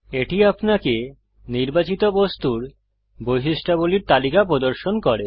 এটি আপনাকে নির্বাচিত বস্তুর বৈশিষ্ট্যাবলীর তালিকা প্রদর্শন করে